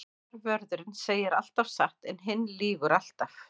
Annar vörðurinn segir alltaf satt en hinn lýgur alltaf.